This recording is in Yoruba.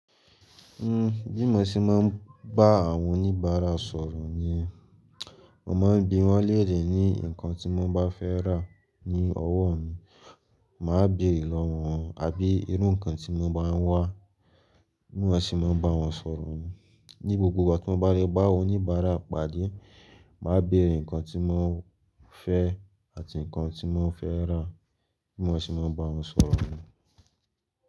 Bí mo ṣe máa ń bá àwọn oníbàárà sọ̀rọ̀ niyen, mo máa ń bi wón léèrè ní nnkán tí mo bá fẹ́ rà ní ọ̀wọ́ mi, màá béèrè lọ́wọ́ wọn, àbí irú nnkán tí won bá ń wá, bí mọ́ ṣe máa ń bá wọn sọ̀rọ̀ niyen. Ni gbogbo ìgbà tí mo bá lè bá oníbàárà pàdé, màá béèrè nnkán tí wọn fẹ́ àti nnkán tí wọ́n fẹ́ rà, bí mọ́ ṣe máa ń bá wọn sọ̀rọ̀ ni.